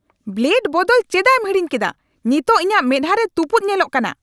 Blade ᱵᱚᱫᱚᱞ ᱪᱮᱫᱟᱜᱮᱢ ᱦᱤᱲᱤᱧ ᱠᱮᱰᱟ ? ᱱᱤᱛᱚᱜ ᱤᱧᱟᱜ ᱢᱮᱫᱦᱟ ᱨᱮ ᱛᱩᱯᱩᱫ ᱧᱮᱞᱚᱜ ᱠᱟᱱᱟ !